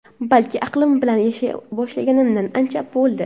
balki aqlim bilan yashay boshlaganimga ancha bo‘ldi.